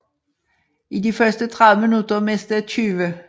I de første 30 minutter mistede 20